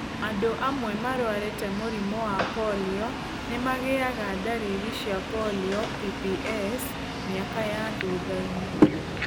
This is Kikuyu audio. Andũ amwe marwarĩte mũrimũ wa polio nĩ magĩaga ndariri cia polio (PPS) mĩaka ya thutha-inĩ.